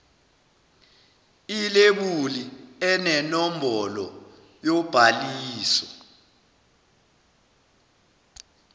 ilebuli enenombolo yobhaliso